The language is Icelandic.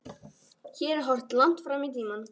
Hér er horft langt fram í tímann.